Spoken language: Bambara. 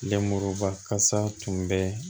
Lenmuruba kasa tun bɛ